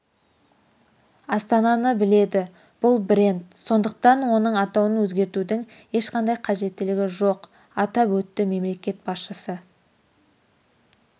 астананы біледі бұл бренд сондықтан оның атауын өзгертудің ешқандай қажеттілігі жоқ атап өтті мемлекет басшысы